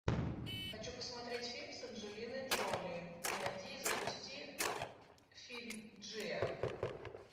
хочу посмотреть фильм с анджелиной джоли найди и запусти фильм джиа